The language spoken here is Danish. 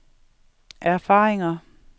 erfaringer